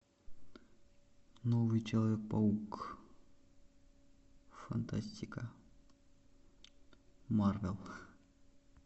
новый человек паук фантастика марвел